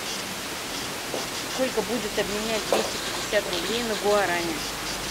сколько будет обменять двести пятьдесят рублей на гуарани